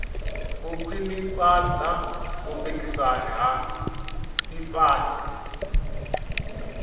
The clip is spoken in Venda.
u khwinifhadza vhupikisani ha ḽifhasi